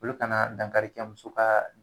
Olu ka na dankari kɛ muso ka